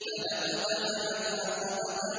فَلَا اقْتَحَمَ الْعَقَبَةَ